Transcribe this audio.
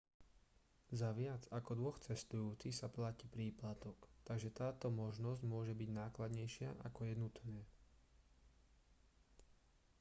za viac ako 2 cestujúcich sa platí príplatok takže táto možnosť môže byť nákladnejšia ako je nutné